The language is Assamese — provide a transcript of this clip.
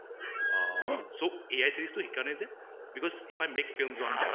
অহ so AI series টো হেই কাৰণে যে অহ if i make films on that